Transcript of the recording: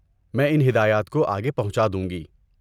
میں ان ہدایات کو آگے پہنچا دوں گی۔